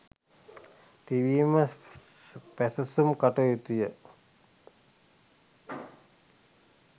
තිබීම පැසසුම් කටයුතුය.